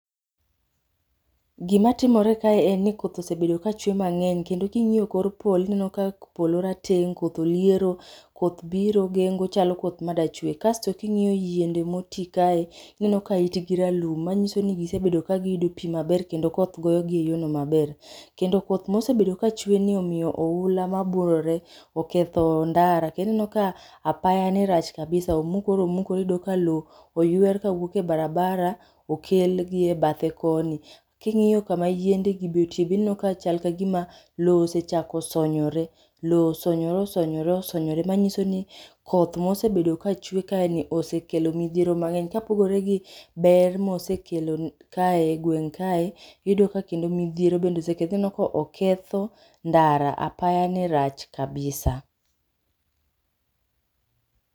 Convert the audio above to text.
Gimatomre kae en ni koth osebedo kaachwe mang'eny kendo king'iyo kor polo ineno ka polo rateng, koth oliero, koth biro gengo chalo koth madachwe. Kasto king'iyo yiende moti kae, ineno ka it gi ralum manyiso ni gisebedo ka giyudo pi maber kendo koth gogi e yorno maber. Kendo koth mosebedo kachweni omiyo oula ma biwore oketho ndara. Kendo ineno ka apaya ni rach kabisa omukore omukore iyudo ka lowo oyuer kawuok e barabara okelgi e bathe koni. King'iyo kama yiendegi be otie be ineno ka chal ka gima lowo osechako sonyore. Lowo osonyore osonyore osonyore manyiso ni koth mosebedo kachwe kaeni osekelo midhiero mang'eny, kapogore gi ber mosekelo kae,e gweng' kae, iyudo ka kendo midhiero bende osekel. Ineno ka oketho ndara, apaya ni rach kabisa.